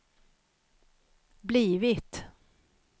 blivit